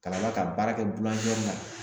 Ka d'a kan baara kɛ la